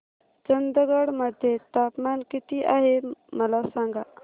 चंदगड मध्ये तापमान किती आहे मला सांगा